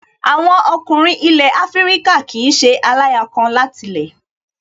Àwọn ọkùnrin ilẹ̀ Afíríkà kìí ṣe aláya kan láti lẹ̀